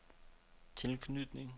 tilknytning